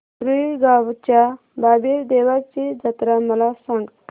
रुई गावच्या बाबीर देवाची जत्रा मला सांग